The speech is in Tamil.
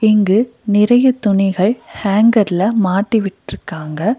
இங்கு நிறைய துணிகள் ஹேங்கர்ல மாட்டி விட்டிருக்காங்க.